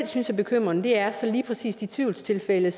synes er bekymrende er så lige præcis de tvivlstilfælde